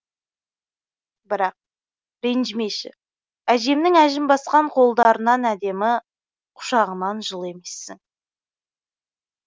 бірақ ренжімеші әжемнің әжім басқан қолдарынан әдемі құшағынан жылы емессің